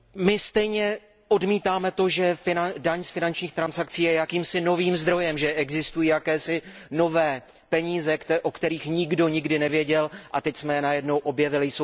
My stejně odmítáme to, že daň z finančních transakcí je jakýmsi novým zdrojem, že existují jakési nové peníze, o kterých nikdo nikdy nevěděl a teď jsme je najednou objevili.